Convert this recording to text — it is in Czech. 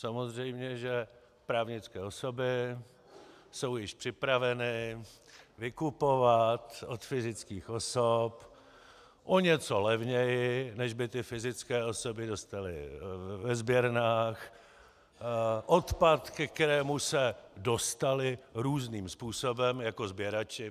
Samozřejmě že právnické osoby jsou již připraveny vykupovat od fyzických osob o něco levněji, než by ty fyzické osoby dostaly ve sběrnách, odpad, ke kterému se dostaly různým způsobem jako sběrači.